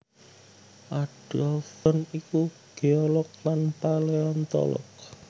Adolf John iku geolog lan paleontolog